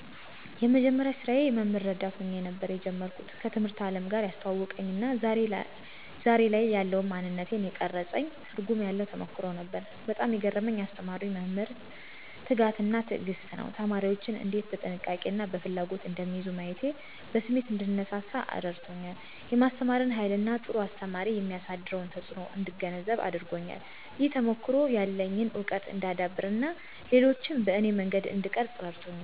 የመጀመሪያ ስራዬ የመምህር ረዳት ሆኜ ነበር የጀመርኩት። ከትምህርት አለም ጋር ያስተዋወቀኝ እና ዛሬ ላይ ያለውን ማንነቴን የቀረፀኝ ትርጉም ያለው ተሞክሮ ነበር። በጣም የገረመኝ ያስተማሩኝ መምህራን ትጋት እና ትዕግስት ነው። ተማሪዎችን እንዴት በጥንቃቄ እና በፍላጎት እንደሚይዙ ማየቴ በስሜት እንድነሳሳ አረድቶኛል። የማስተማርን ሃይልን እና ጥሩ አስተማሪ የሚያሳድረውን ተጽእኖ እንድገነዘብ አድርጎኛል። ይህ ተሞክሮ ያለኝን እውቀት እንዳዳብር እና ሌሎችን በኔ መንገድ እንድቀርፅ እረድቶኛል።